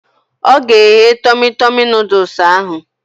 Ọ ga-egge tọmi tọmi nọdụs ahụ